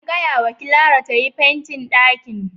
An gaya wa Clara tayi fentin ɗakin.